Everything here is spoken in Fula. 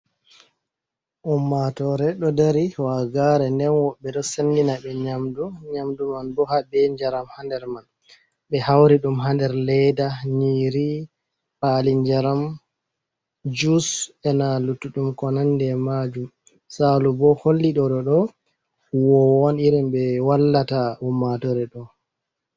Ummatore ɗo dari waagare, nden woɓɓe ɗo sandina ɓe nyamdu. Nyamdu man bo habe njaram hander man, ɓe hauri dum hader leda, nyiri pali jaram, juice, ena lutudum ko nande majum. Salu bo holli ɗoɗo do huwowo un irin ɓe wallata ummatore ɗo.